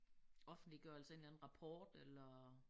Offentliggørelse af en eller anden rapport eller